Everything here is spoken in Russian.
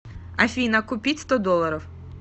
афина купить сто долларов